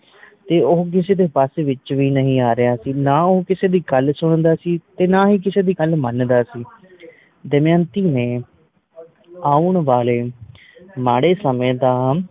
ਤੇ ਉਹ ਕਿਸੇ ਦੇ ਵੱਸ ਵਿਚ ਵੀ ਨਹੀਂ ਆ ਰਿਹਾ ਸੀ ਨਾ ਉਹ ਕਿਸੇ ਦੀ ਗੱਲ ਸੁਣਦਾ ਸੀ ਤੇ ਨਾ ਹੀ ਕਿਸੇ ਦੀ ਗੱਲ ਮੰਨਦਾ ਸੀ। ਦਮਯੰਤੀ ਨੇ ਆਉਣ ਵਾਲੇ ਮਾੜੇ ਸਮੇ ਦਾ